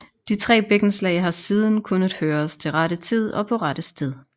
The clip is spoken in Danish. De tre bækkenslag har siden kunnet høres til rette tid og på rette sted